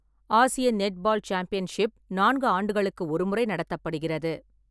ஆசிய netball championship நான்கு ஆண்டுகளுக்கு ஒரு முறை நடத்தப்படுகிறது.